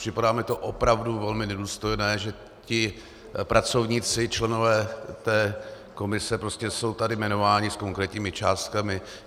Připadá mi to opravdu velmi nedůstojné, že ti pracovníci, členové té komise, jsou prostě tady jmenováni s konkrétními částkami.